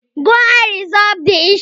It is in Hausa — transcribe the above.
Go and resolve the issue